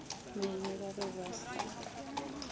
mene ba be ba sa